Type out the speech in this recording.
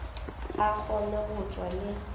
a kgone go tšwa le